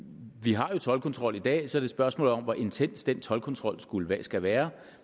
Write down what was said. har jo toldkontrol i dag så det spørgsmål om hvor intens den toldkontrol skal være